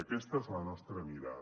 aquesta és la nostra mirada